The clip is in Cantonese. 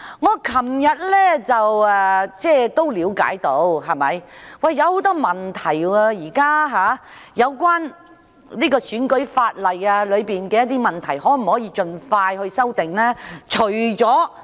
我昨天了解到，現時出現了很多有關選舉法例的問題，政府可否盡快提出修訂呢？